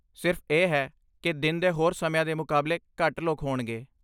ਸਿਰਫ਼ ਇਹ ਹੈ ਕਿ ਦਿਨ ਦੇ ਹੋਰ ਸਮਿਆਂ ਦੇ ਮੁਕਾਬਲੇ ਘੱਟ ਲੋਕ ਹੋਣਗੇ।